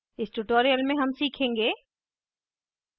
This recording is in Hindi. इस tutorial में हम सीखेंगे